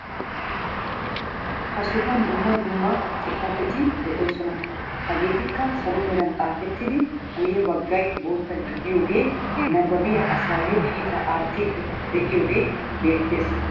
Ha sohuwaan dumma dumma xifaatetti de'oosona. hegeetikka salo meran xaafettidi guyye baggay bootta gididoogee nabaabiyaa asayoo kiittaa aattiidi de'iyoogee beettees.